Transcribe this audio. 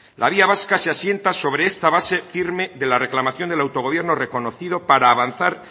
la vía vasca se asienta sobre esta base firme de la reclamación del autogobierno reconocido para avanzar